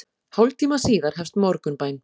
Hálftíma síðar hefst morgunbæn.